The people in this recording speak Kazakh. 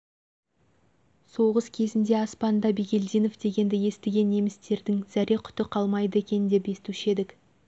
соғыс кезінде аспанда бигелдинов дегенді естіген немістердің зәре құты қалмайды екен деп естуші едік